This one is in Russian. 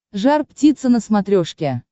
жар птица на смотрешке